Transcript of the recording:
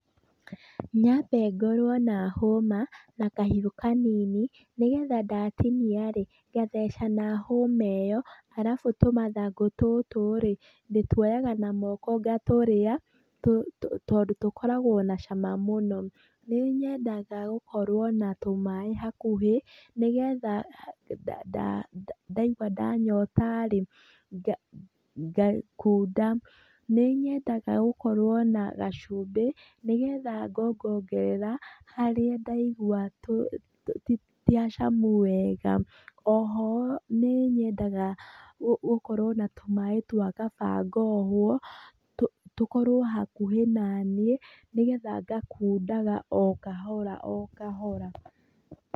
Nyambe ngorwo na hũma na kahiũ kanini nĩgetha ndatinia rĩ ngatheca na hũma ĩyo arabu tũmathangũ tũtũ rĩ ndĩtuoyaga na moko ngatũrĩa tondũ tũkoragwo na cama mũno. Nĩ nyendaga gũkorwo na tũmaaĩ hakuhĩ nĩgetha ndaĩgua ndanyota rĩ ngakunda. Nĩ nyendaga gũkorwo na gacumbĩ nĩgetha ngongongerera, harĩa ndaigua ti hacamu wega, oho nĩ nyendaga gũkorwo na tũmaaĩ twa kabangohwo tũkorwo hakuhĩ naniĩ nĩgetha ngakundaga o kahora o kahora.